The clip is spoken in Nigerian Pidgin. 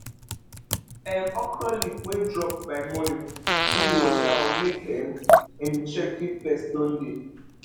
um okra leaf wey drop by morning need water or make um um u check if pest don dey